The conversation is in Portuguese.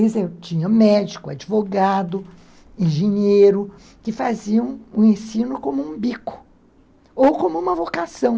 Eles tinham médico, advogado, engenheiro, que faziam o ensino como um bico, ou como uma vocação.